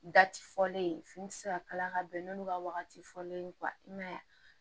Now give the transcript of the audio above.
Da ti fɔlen ye fini ti se ka kala ka bɛn n'olu ka wagati fɔlen ye i man ye